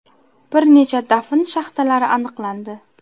Bir necha dafn shaxtalari aniqlandi.